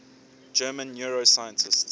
german neuroscientists